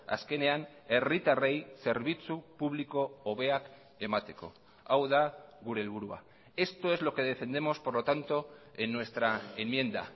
azkenean herritarrei zerbitzu publiko hobeak emateko hau da gure helburua esto es lo que defendemos por lo tanto en nuestra enmienda